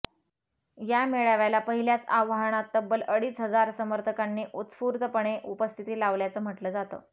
या मेळाव्याला पहिल्याच आवाहनात तब्बल अडीच हजार समर्थकांनी उत्स्फूर्तपणे उपस्थिती लावल्याचं म्हटलं जातं